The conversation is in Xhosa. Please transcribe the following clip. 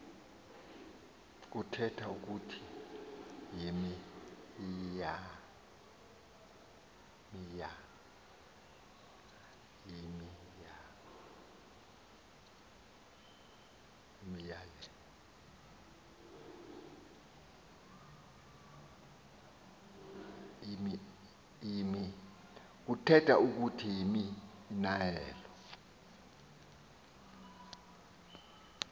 kuthetha ukuthi yimianelo